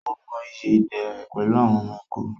Ó mọ ìyí ìdè rẹ̀ pẹ̀lú àwọn ẹranko.